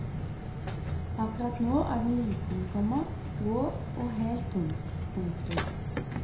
Akkurat nå er den liten, komma grå og helt tom. punktum